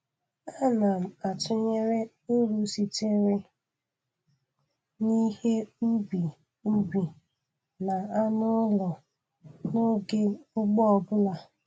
Ana m atụnyere uru sitere n'ihe ubi ubi na anụ ụlọ n'oge ugbo ọbụla